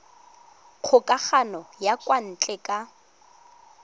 kgokagano ya kwa ntle ka